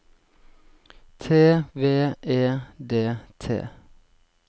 T V E D T